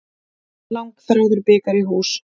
Langþráður bikar í hús